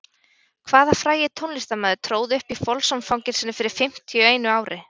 Hvaða frægi tónlistarmaður tróð upp í Folsom-fangelsinu fyrir fimmtíu einu ári?